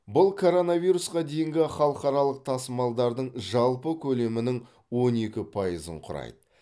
бұл короновирусқа дейінгі халықаралық тасымалдардың жалпы көлемінің он екі пайызын құрайды